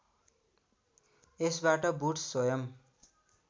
यसबाट बुड्स स्वयं